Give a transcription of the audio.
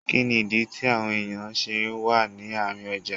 Kínní ìdí tí àwọn èèyàn ṣe wà ní àárín ọjà?